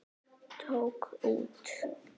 Tók út.